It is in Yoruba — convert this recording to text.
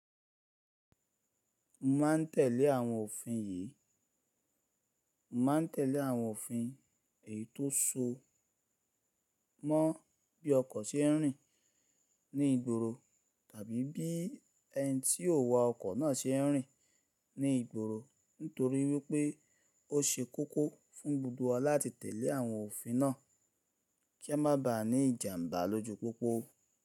Mo ma n tẹ̀lé àwọn òfin yìí, Mo ma n tẹ̀lé àwọn òfin èyí tó so mọ́ bí ọkọ̀ se rìn ní ìgboro tàbí bí ẹni tí yóò wa ọkọ̀ náà se rìn ní ìgboro nítorí wípé ó ṣe kókó fún gbogbo wa láti tẹ̀lé àwọn òfin náà kí a má ba à ní ìjàmbá lójú pópó.